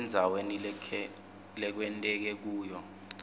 endzaweni lekwenteke kuyo